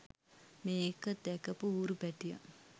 මේක දැකපු ඌරු පැටියා